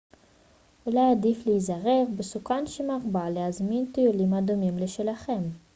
אולי עדיף להיעזר בסוכן שמרבה להזמין טיולים הדומים לשלכם